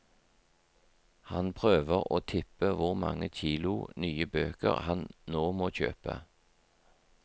Han prøver å tippe hvor mange kilo nye bøker han nå må kjøpe.